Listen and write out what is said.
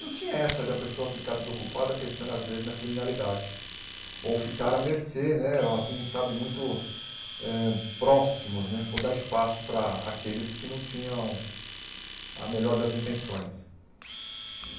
não tinha essa da pessoa ficar desocupada, pensando, às vezes, na criminalidade, ou ficar à mercê, né ou assim sabe muito eh próximos né, ou dar espaço para aqueles que não tinham a melhor das intenções.